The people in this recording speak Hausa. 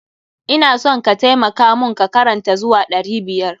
Ina son ka taimaka mun ka karanta zuwa ɗari biyar.